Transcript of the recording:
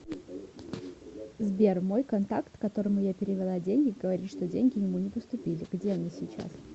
сбер мой контакт которому я перевела деньги говорит что деньги ему не поступили где они сейчас